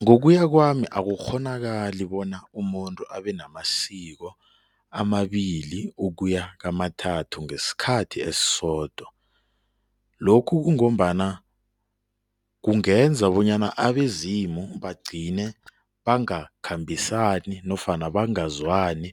Ngokuya kwami akukghonakali bona umuntu abe namasiko amabili ukuya kamathathu ngesikhathi esisodwa. Lokhu kungombana kungenza bonyana abezimu bagcine bangakhambisani nofana bangazwani,